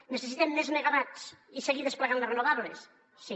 necessitem més megawatts i seguir desplegant les renovables sí